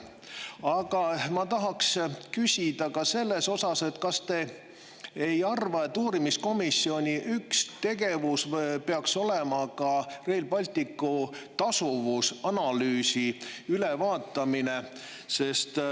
Aga ma tahaks küsida ka selle kohta, kas te ei arva, et uurimiskomisjoni üks tegevus peaks olema ka Rail Balticu tasuvuse analüüsi ülevaatamine.